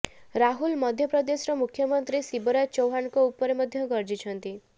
ରାହୁଲ ମଧ୍ୟପ୍ରଦେଶର ମୁଖ୍ୟମନ୍ତ୍ରୀ ଶିବରାଜ ଚୌହ୍ୱାନଙ୍କ ଉପରେ ମଧ୍ୟ ଗର୍ଜିଛନ୍ତି